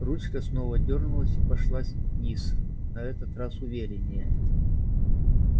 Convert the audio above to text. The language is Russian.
ручка снова дёрнулась и пошла вниз на этот раз увереннее